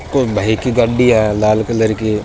और भाई कि गाड़ी है लाल कलर की --